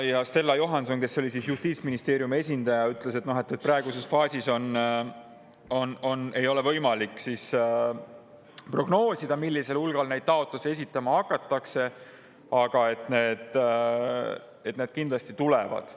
Stella Johanson, kes oli Justiitsministeeriumi esindaja, ütles, et praeguses faasis ei ole võimalik prognoosida, millisel hulgal neid taotlusi esitama hakatakse, aga kindlasti need tulevad.